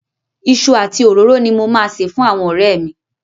Iṣu àti òróró ni mo máa sè fún àwọn ọ̀rẹ́ mi.